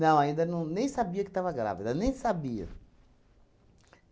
Não, ainda não, nem sabia que estava grávida, nem sabia.